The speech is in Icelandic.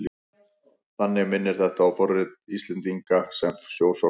Þannig minnir þetta á fortíð Íslendinga sem sjósóknara.